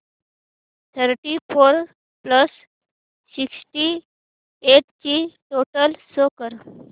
thirty four plus sixty eight ची total show कर